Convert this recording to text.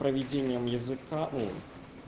проведением языка о